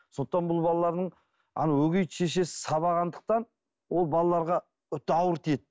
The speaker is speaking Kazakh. сондықтан бұл балаларының ана өгей шешесі сабағандықтан ол балаларға өте ауыр тиеді